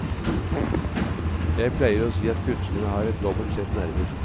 Jeg pleier si at kunstnere har et dobbelt sett nerver.